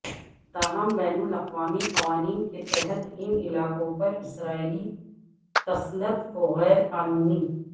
تاہم بین الاقوامی قوانین کے تحت ان علاقوں پر اسرائیلی تسلط کو غیر قانونی